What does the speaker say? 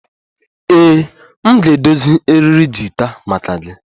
Ee, m ga-edozi eriri gita maka gị